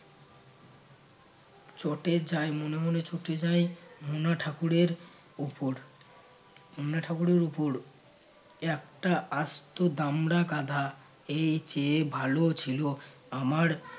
চটে যায় মনে মনে চটে যায় মোনা ঠাকুরের উপর মনা ঠাকুরের উপর, একটা আস্ত দামড়া গাধা এই চেয়ে ভালো ছিল আমার